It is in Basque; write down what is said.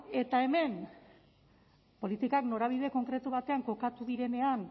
eta hemen politikak norabide konkretu batean kokatu direnean